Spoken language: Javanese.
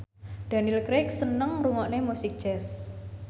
Daniel Craig seneng ngrungokne musik jazz